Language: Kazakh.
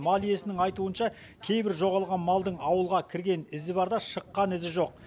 мал иесінің айтуынша кейбір жоғалған малдың ауылға кірген ізі бар да шыққан ізі жоқ